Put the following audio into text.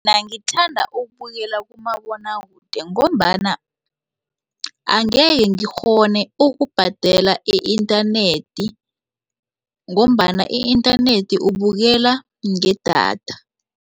Mina ngithanda ukubukela kumabonwakude ngombana angeke ngikghone ukubhadela i-inthanethi ngombana i-inthanethi ubukela ngedatha.